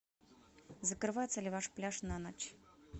закрывается ли ваш пляж на ночь